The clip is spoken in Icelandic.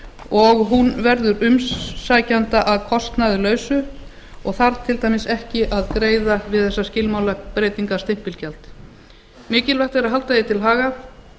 og hún verður umsækjanda að kostnaðarlausu og þarf til dæmis ekki að greiða við þessa skilmála breytingarstimpilgjald mikilvægt er að halda því til haga